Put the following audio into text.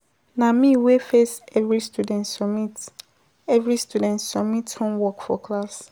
Na me wey first every student submit every student submit homework for class.